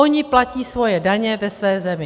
Oni platí svoje daně ve své zemi.